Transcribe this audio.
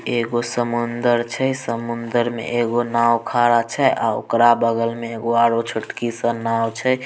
एक समुन्द्रर छै समुन्द्रर में एगो नाव खरा छै और ओकरा बगल में एक छोटकी सन नाव छै।